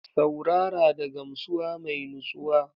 Saurara da gamsuwa mai nutsuwa